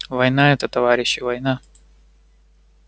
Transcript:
война это товарищи война